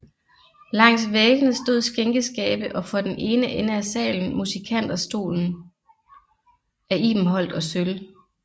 Langs væggene stod skænkeskabe og for den ene ende af salen musikanterstolen af ibenholt og sølv